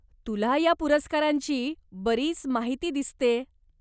तुला ह्या पुरस्कारांची बरीच माहिती दिसतेय.